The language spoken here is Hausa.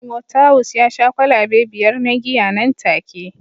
Timothawus ya sha kwalabe biyar na giya nan take